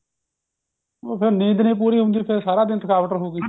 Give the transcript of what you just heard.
ਫੇਰ ਨੀਂਦ ਨਹੀਂ ਪੂਰੀ ਹੁੰਦੀ ਫੇਰ ਸਾਰਾ ਦਿਨ ਥਕਾਵਟ ਰਹੂਗੀ